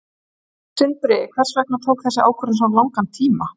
Sindri: Hvers vegna tók þessi ákvörðun svona langan tíma?